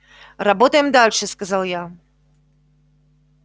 работаем дальше сказал я